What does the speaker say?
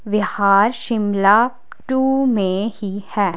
विहार Shimla two में ही है।